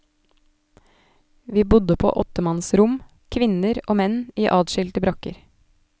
Vi bodde på åttemanns rom, kvinner og menn i adskilte brakker.